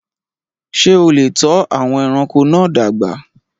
Ṣé o lè tọ́ àwọn ẹranko náà dàgbà?